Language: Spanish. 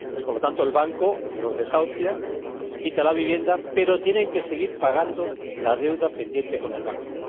por lo tanto, el banco las desahucia, les quita la vivienda, pero ellas tienen que seguir pagando la deuda pendiente con el banco.